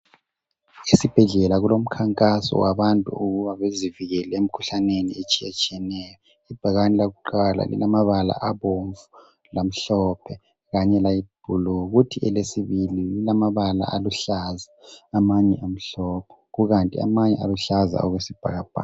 Ezibhedlela kulomkhankaso wabantu ukuba bazivikele emikhuhlaneni etshiyetshiyeneyo. Ibhakane lakuqala lilamabala abomvu lamhlophe langani ayiblue. Kuthi elesibili lilamabala aluhlaza lamanye amhlophe. Kukanti amanye aluhlaza okwesibhakabhaka.